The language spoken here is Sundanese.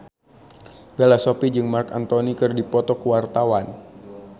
Bella Shofie jeung Marc Anthony keur dipoto ku wartawan